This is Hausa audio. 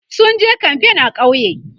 sunje kamfain a ƙauye